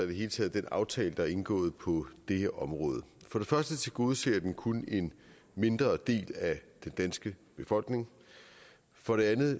det hele taget den aftale der er indgået på det her område for det første tilgodeser den kun en mindre del af den danske befolkning for det andet